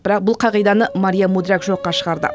бірақ бұл қағиданы мария мудряк жоққа шығарды